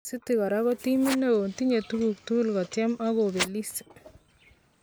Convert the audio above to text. City kora ko timit neon ,tinye tukuk tukul kotyem ak kobelis.